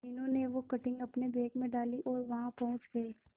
मीनू ने वो कटिंग अपने बैग में डाली और वहां पहुंच गए